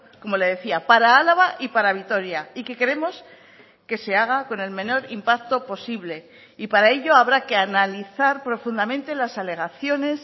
como le decía para álava y para vitoria y que queremos que se haga con el menor impacto posible y para ello habrá que analizar profundamente las alegaciones